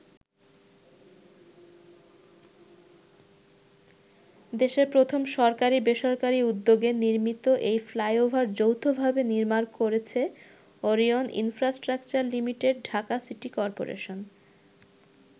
দেশের প্রথম সরকারি-বেসরকারি উদ্যোগে নির্মিত এই ফ্লাইওভার যৌথভাবে নির্মাণ করেছে Orion Infrastructure Limited Dhaka City corporation.